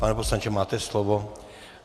Pane poslanče, máte slovo.